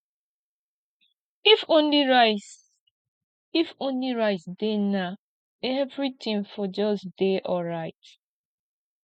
if only rice if only rice dey now everything for just dey alright